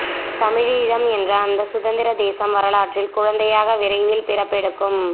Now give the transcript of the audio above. தமிழீழம் என்ற அந்த சுதந்திர தேசம் வரலாற்றின் குழந்தையாக விரைவில் பிறப்பெடுக்கும்